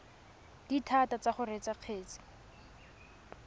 dithata tsa go reetsa kgetse